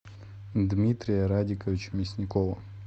дмитрия радиковича мясникова